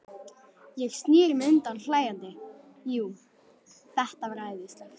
Ég sneri mér undan hlæjandi, jú, þetta var æðislegt.